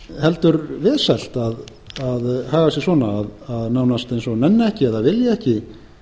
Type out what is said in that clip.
heldur vesælt að hegða sér svona að nánast eins og að nenna ekki eða vilja ekki